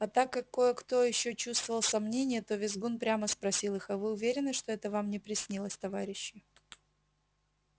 а так как кое-кто ещё чувствовал сомнение то визгун прямо спросил их а вы уверены что это вам не приснилось товарищи